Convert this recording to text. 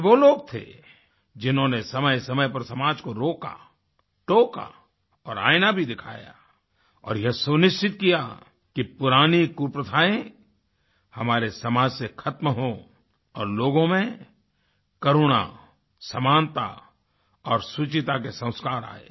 ये वो लोग थे जिन्होंने समयसमय पर समाज को रोका टोका और आईना भी दिखाया और यह सुनिश्चित किया कि पुरानी कुप्रथाएँ हमारे समाज से खत्म हों और लोगों में करुणा समानता और शुचिता के संस्कार आएं